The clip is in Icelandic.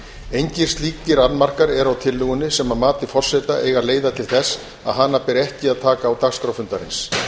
engir slíkir annmarkar eru á tillögunni sem að mati forseta eiga að leiða til þess að hana beri ekki að taka á dagskrá fundarins